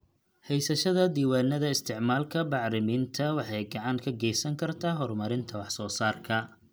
Haysashada diiwaannada isticmaalka bacriminta waxay gacan ka geysan kartaa horumarinta wax soo saarka.